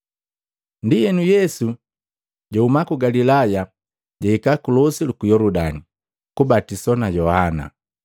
Ndienu, Yesu jahuma ku Galilaya, jahika ku losi luku Yoludani, kubatiswa na Yohana.